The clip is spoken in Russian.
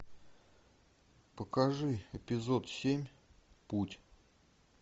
покажи эпизод семь путь